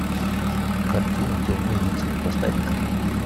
картина темный рыцарь поставь ка